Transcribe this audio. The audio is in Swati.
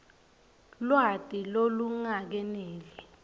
lwati lolungakeneli